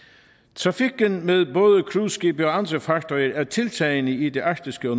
trafikken med både cruiseskibe og andre fartøjer er tiltagende i det arktiske og